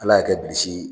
Ala y'a kɛ bilisi